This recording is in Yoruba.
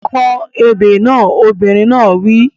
Kọ ebè kan! Obìnrin náà wí.